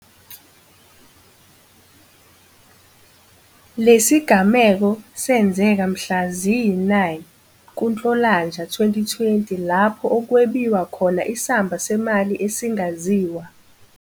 Lesigameko senzeka mhla ziyi-9 kuNhlolanja 2020 lapho okwebiwa khona isamba semali esingaziwa.